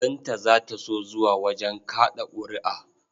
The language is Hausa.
Binta za ta so zuwa wajen kaɗa ƙuri'a.